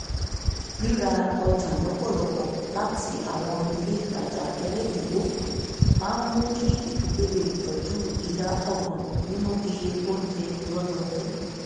ríra ọjà lọ́pò láti àwọn ilé ìtajà ẹlẹ́dínówó máa mú kí ìdílé le tọ́jú ìdá ọgbọ̀n nínú iye oúnjẹ lọ́dọọdún